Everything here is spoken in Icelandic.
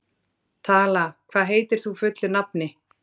Tala, hvað heitir þú fullu nafni?